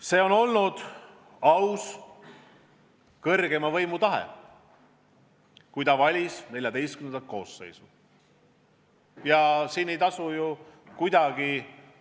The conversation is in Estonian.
See oli kõrgeima võimu tahe, kui ta valis Riigikogu XIV koosseisu, et võidab Reformierakond.